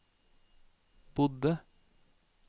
bodde